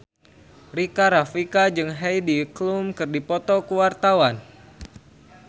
Rika Rafika jeung Heidi Klum keur dipoto ku wartawan